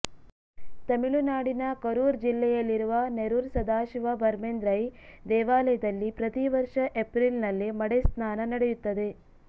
ತಮಿಳುನಾಡಿನ ಕರೂರ್ ಜಿಲ್ಲೆಯಲ್ಲಿರುವ ನೆರೂರ್ ಸದಾಶಿವ ಭರ್ಮೇಂದ್ರೈ ದೇವಾಲಯದಲ್ಲಿ ಪ್ರತಿವರ್ಷ ಏಪ್ರಿಲ್ ನಲ್ಲಿ ಮಡೆಸ್ನಾನ ನಡೆಯುತ್ತದೆ